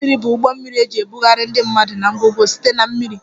Ụgbọ mmiri bụ ụgbọ mmiri eji ebugharị ndị mmadụ na ngwongwo site na mmiri